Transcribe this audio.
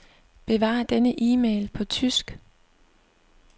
Besvar denne e-mail på tysk.